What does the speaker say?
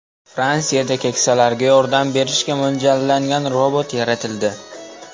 Fransiyada keksalarga yordam berishga mo‘ljallangan robot yaratildi.